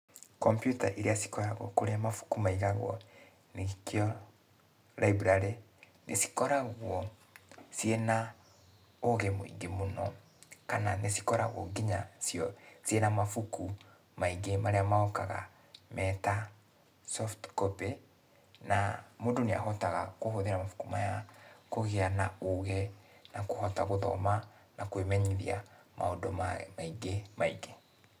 Kombiuta iria cikoragũo kũrĩa mabuku maigagwo, nĩkĩo [cs library nĩcikoragũo, ciĩna, ũgĩ mũigĩ mũno, kana nĩcikoragũo kinya cio ciĩ na mabuku maingĩ marĩa mokaga meta soft copy, na mũndũ nĩahotaga kũhũthĩra mabuku maya kũgĩa na ũgĩ, na kũhota gũthoma na kũĩmenyithia maũndũ maingĩ maingĩ.